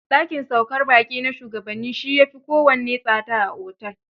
Da kin saukar baƙi na shugabanni, shi ya fi kowanne tsada a otel.